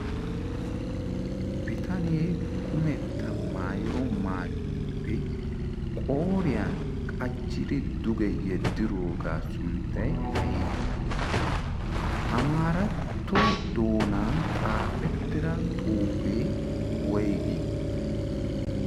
bitaniyee kumetta maayo maayuwaappe qooriyan qachchiri duge yeddiroogaa sunttay aybee amaaratto doonan xaafettira xuuphee woygii?